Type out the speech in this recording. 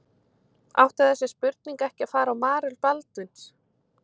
Átti þessi spurning ekki að fara á Marel Baldvins?